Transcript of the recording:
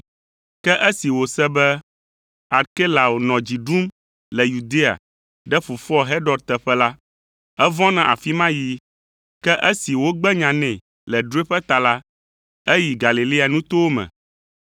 Ke esi wòse be Arkelao nɔ dzi ɖum le Yudea ɖe fofoa Herod teƒe la, evɔ̃ na afi ma yiyi. Ke esi wogbe nya nɛ le drɔ̃eƒe ta la, eyi Galilea nutowo me,